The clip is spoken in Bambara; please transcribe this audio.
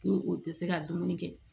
Ko o tɛ se ka dumuni kɛ